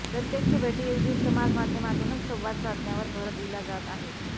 प्रत्यक्ष भेटीऐवजी समाजमाध्यमातूनच संवाद साधण्यावर भर दिला जात आहे